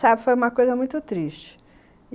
Sabe, foi uma coisa muito triste.